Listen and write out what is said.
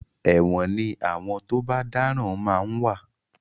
ẹ̀wọ̀n ní àwọn tó bá dáràn ma ń wà.